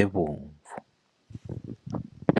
ebomvu.